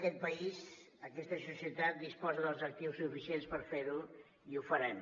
aquest país aquesta societat disposa dels actius suficients per fer ho i ho farem